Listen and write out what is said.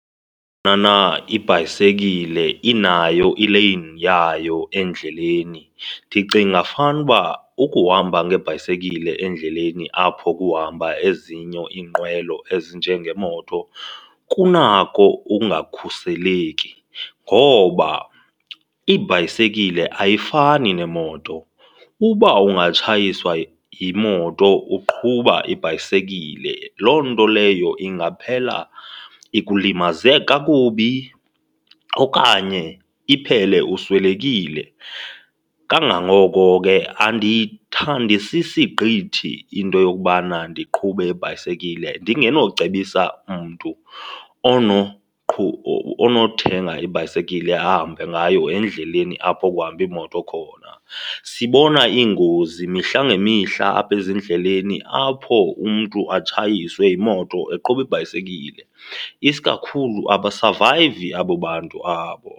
ibhayisekile inayo ileyini yayo endleleni. Ndicinga fanuba ukuhamba ngebhayisekile endleleni apho kuhamba ezinye iinqwelo ezinjengeemoto kunako ukungakhuseleki ngoba ibhayisekile ayifani nemoto. Uba ungatshayiswa yimoto uqhuba ibhayisekile, loo nto leyo ingaphela ikulimaze kakubi okanye iphele uswelekile. Kangangoko ke andiyithandisisi gqithi into yokubana ndiqhube ibhayisekile ndingenocebisa mntu onothenga ibhayisekile ahamba ngayo endleleni apho kuhamba iimoto khona. Sibona iingozi mihla ngemihla apha ezindleleni apho umntu atshayiswe yimoto eqhuba ibhayisekile, isikakhulu abasavayivi abo bantu abo.